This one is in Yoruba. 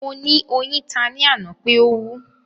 Mo ni oyin ta ni ana pe o wú